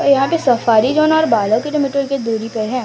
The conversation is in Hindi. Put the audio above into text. यहां पे सफारी जोन बारह किलोमीटर दूरी पे है।